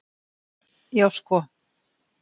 Já sko.